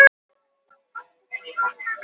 Aðeins fimmtungur vill bæta veginn